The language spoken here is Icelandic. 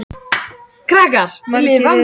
Margir eru á ferð og umferðin gengur því hægt.